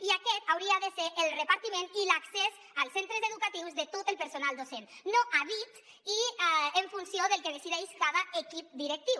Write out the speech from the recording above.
i aquest hauria de ser el repartiment i l’accés als centres educatius de tot el personal docent no a dit i en funció del que decideix cada equip directiu